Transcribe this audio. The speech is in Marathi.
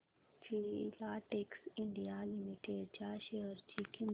फिलाटेक्स इंडिया लिमिटेड च्या शेअर ची किंमत